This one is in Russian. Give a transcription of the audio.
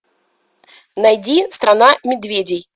найди страна медведей